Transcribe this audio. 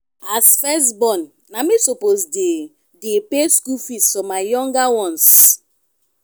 as first born na me suppose dey dey pay school fees for my younger ones.